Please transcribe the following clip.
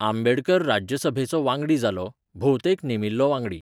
आंबेडकर राज्यसभेचो वांगडी जालो, भोवतेक नेमिल्लो वांगडी.